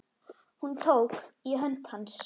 Hún tók í hönd hans.